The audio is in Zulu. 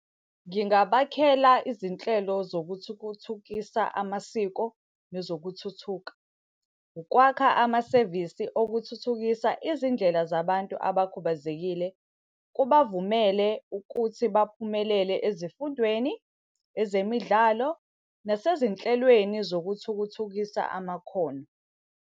Ngingabakhela izinhlelo zokuthukuthukisa amasiko nezokuthuthuka. Ukwakha amasevisi okuthuthukisa izindlela zabantu abakhubazekile kubavumele ukuthi baphumelele ezifundweni, ezemidlalo, nasezinhlelweni zokuthukuthukisa amakhono.